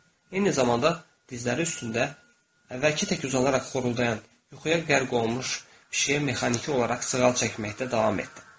Eyni zamanda dizləri üstündə əvvəlki tək uzanaraq xoruldayan, yuxuya qərq olunmuş pişiyə mexaniki olaraq sığal çəkməkdə davam etdi.